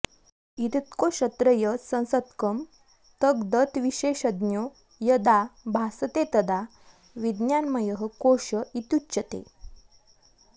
एतत्कोशत्रयसंसक्तं तद्गतविशेषज्ञो यदा भासते तदा विज्ञानमयः कोश इत्युच्यते